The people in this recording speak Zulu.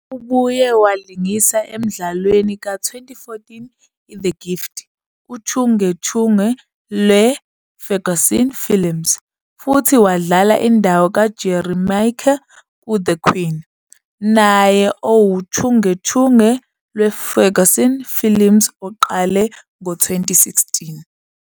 Ubuye walingisa emdlalweni ka-2014 "iThe Gift", uchungechunge lweFerguson Films, futhi wadlala indawo kaJerry Maake "kuThe Queen", naye owuchungechunge lweFerguson Films oqale ngo-2016.